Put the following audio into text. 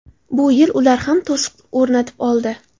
Bu yil ular ham to‘siq o‘rnatib oldi.